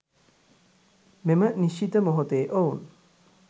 මෙම නිශ්චිත මොහොතේ ඔවුන්